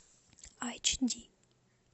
айч ди